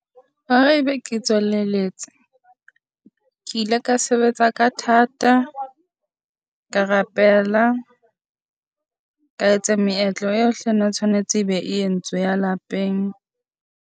Hore e be ke tswelelletswe ke ile ka sebetsa ka thata. Ka rapela. Ka etsa meetlo yohle e ne tshwanetse e be e entswe ya lapeng.